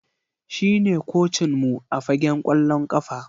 Shine kocinmu a fagen kwallon kafa